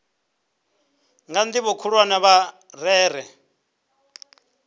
kha ndivho khulwane vha rere